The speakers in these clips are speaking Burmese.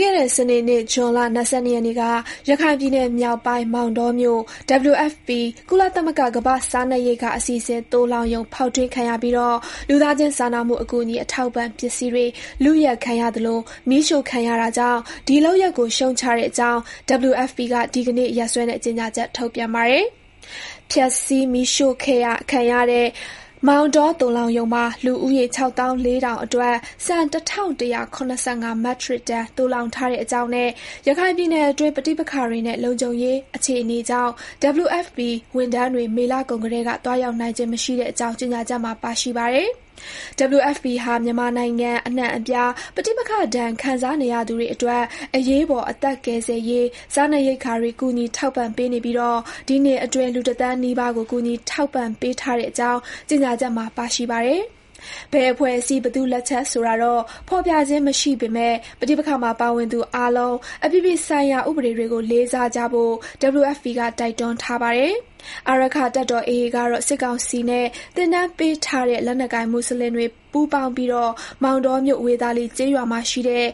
ခဲ့တဲ့ စနေနေ့ ဇွန်လ ၂၂ ရက်နေ့က ရခိုင်ပြည်နယ်မြောက်ပိုင်း မောင်တောမြို့ WFP ကုလသမဂ္ဂ ကမ္ဘာ့စားနပ်ရိက္ခာအစီအစဉ် သိုလှောင်ရုံ ဖေါက်ထွင်းခံရပြီး လူသားချင်းစာနာမှုအကူအညီ အထောက်အပံ့ပစ္စည်းတွေ လုယက်ခံရသလို မီးရှို့ခံရတာကြောင့် ဒီ လုပ်ရပ်ကို ရှုတ်ချတဲ့အကြောင်း WFP က ဒီနေ့ ရက်စွဲနဲ့ ကြေညာချက် ထုတ်ပြန်ပါတယ်။ ဖျက်ဆီး မီးရှို့ခံရတဲ့ မောင်တော သိုလှောင်ရုံမှာ လူဦးရေ ၆၄,၀၀၀ အတွက် ဆန် ၁၁၇၅ မက်ထရစ်တန် သိုလှောင်ထားတဲ့အကြောင်းနဲ့ ရခိုင်ပြည်နယ်အတွင်း ပဋိပက္ခတွေနဲ့ လုံခြုံရေးအခြေအနေကြောင့် WFP ဝန်ထမ်းတွေ မေလကုန်ကတည်းက သွားရောက်နိုင်ခြင်း မရှိတဲ့အကြောင်း ကြေညာချက်မှာ ပါရှိပါတယ်။ WFP ဟာ မြန်မာနိုင်ငံ အနှံ့အပြား ပဋိပက္ခဒဏ် ခံစားနေရသူတွေအတွက် အရေးပေါ် အသက်ကယ်ဆယ်ရေး စားနပ်ရိက္ခာတွေ ကူညီထောက်ပံ့ပေးနေပြီး ဒီနှစ်အတွင်း လူတသန်းနီးပါးကို ကူညီထောက်ပံ့ပေးထားတဲ့အကြောင်း ကြေညာချက်မှာ ပါရှိပါတယ်။ ဘယ်အဖွဲ့အစည်း ဘယ်သူ့လက်ချက်ဆိုတာ ဖေါ်ပြခြင်းမရှိပေမဲ့ ပဋိပက္ခမှာ ပါဝင်သူအားလုံး အပြည်ပြည်ဆိုင်ရာ ဥပဒေတွေကို လေးစားဖို့ WFP က တိုက်တွန်းထားပါတယ်။ အာရက္ခတပ်တော် AA ကတော့ စစ်ကောင်စီနဲ့ သင်တန်းပေးထားတဲ့ လက်နက်ကိုင် မူဆလင်တွေ ပူးပေါင်းပြီး မောင်တောမြို့ ဝေသာလီကျေးရွာမှာရှိတဲ့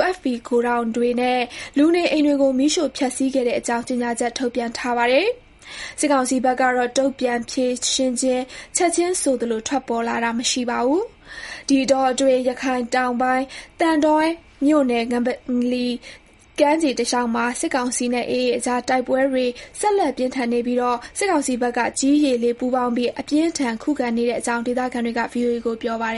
WFP ဂိုဒေါင်တွေနဲ့ လူနေအိမ်တွေကို မီးရှို့ဖျက်ဆီးခဲ့တဲ့အကြောင်း ကြေညာချက် ထုတ်ပြန်ထားပါတယ်။ စစ်ကောင်စီဘက်က တုံ့ပြန်ဖြေရှင်းချက် ချက်ခြင်းဆိုသလို ထွက်တာတာ မရှိသေးပါဘူး။ ဒီအတောအတွင်း ရခိုင်တောင်ပိုင်း သံတွဲမြို့နယ် ငပလီကမ်းခြေတလျှောက်မှာ စစ်ကောင်စီနဲ့ AA အကြားတိုက်ပွဲတွေ ဆက်လက်ပြင်းထန်နေပြီး စစ်ကောင်စီဘက်က ကြည်း၊ ရေ၊ လေ ပူးပေါင်းပြီး အပြင်း အထန် ခုခံနေတဲ့အကြောင်း ဒေသခံတွေက VOA ကို ပြောပါတယ